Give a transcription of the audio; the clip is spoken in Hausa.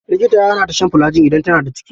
Likita ya hana ta shan filajil idan tana daciki.